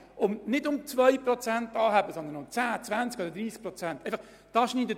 Es geht nicht um eine Anhebung von 2 Prozent, sondern um 10, 20 oder 30 Prozent.